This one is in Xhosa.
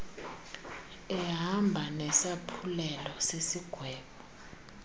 ehamba nesaphulelo sesigwebo